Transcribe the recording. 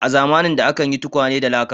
A zamanin da akan yin tukwane da laka.